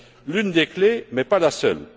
L'une des clés, mais pas la seule.